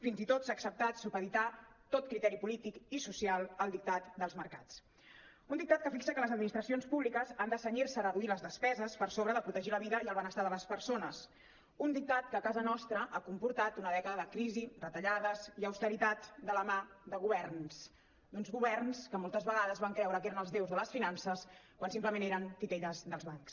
fins i tot s’ha acceptat supeditar tot criteri polític i social al dictat dels mercats un dictat que fixa que les administracions públiques han de cenyir se a reduir les despeses per sobre de protegir la vida i el benestar de les persones un dictat que a casa nostra ha comportat una dècada de crisi retallades i austeritat de la mà de governs d’uns governs que moltes vegades van creure que eren els déus de les finances quan simplement eren titelles dels bancs